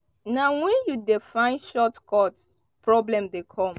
na wen you dey find short cut problem dey come.